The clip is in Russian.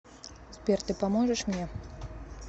сбер ты поможешь мне